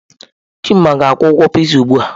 Chima ga-akwụ ụgwọ Pịzaa ugbu a.